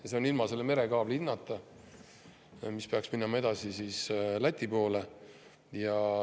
Ja see on ilma selle merekaabli hinnata, mis peaks minema edasi Läti poole.